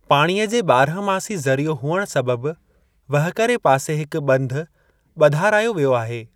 पाणीअ जे ॿारहं मासी ज़रियो हुअण सबबि, वहकरे पासे हिक ॿंध ॿधारायो वियो आहे।